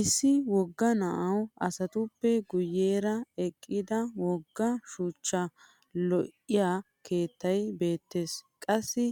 Issi wogga naa'u asatuppe guyyeera eqqida wogga shuchcha lo'iya keettay beettes. Qassi